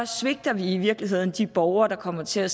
svigter vi i virkeligheden de borgere der kommer til at